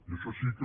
i això sí que